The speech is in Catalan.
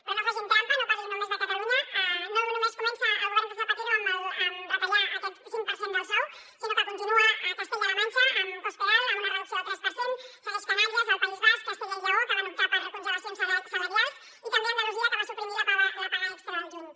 però no facin trampa no parlin només de catalunya no només comença el govern de zapatero a retallar aquest cinc per cent del sou sinó que continua a castella la manxa amb cospedal amb una reducció del tres per cent segueix a canàries al país basc a castella i lleó que van optar per congelacions salarials i també a andalusia que va suprimir la paga extra del juny